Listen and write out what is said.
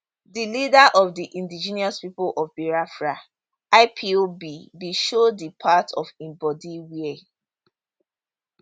di leader of di indigenous people of biafra ipob bin show di part of im body wia